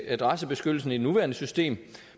adressebeskyttelsen i det nuværende system